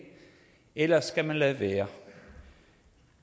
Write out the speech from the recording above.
ellers skal man lade være